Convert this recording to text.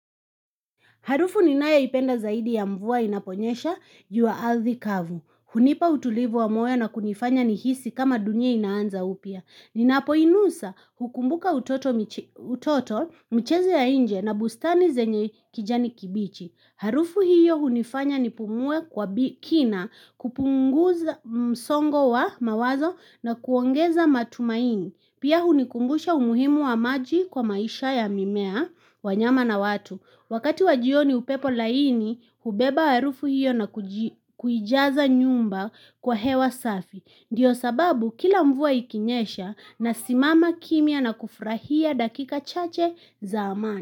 Harufu ni nayo ipenda zaidi ya mvua inaponyesha juu ya athi kavu. Hunipa utulivu wa moyo na kunifanya ni hisi kama dunia inaanza upya. Ninapo inusa hukumbuka utoto michezo ya inje na bustani zenye kijani kibichi. Harufu hiyo hunifanya ni pumue kwa kina kupunguza msongo wa mawazo na kuongeza matumaini. Pia hunikumbusha umuhimu wa maji kwa maisha ya mimea wa nyama na watu. Wakati wajioni upepo laini, ubeba harufu hiyo na kuijaza nyumba kwa hewa safi. Ndiyo sababu kila mvua ikinyesha na simama kimya na kufurahia dakika chache za amani.